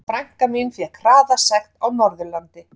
Frænka mín fékk hraðasekt á Norðurlandi.